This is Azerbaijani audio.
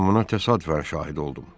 Mən buna təsadüfən şahid oldum.